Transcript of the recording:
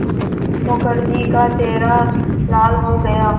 मुखर्जी का चेहरा लाल हो गया